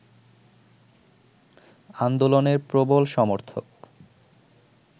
আন্দোলনের প্রবল সমর্থক